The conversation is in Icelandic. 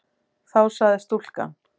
Þá sagði stúlkan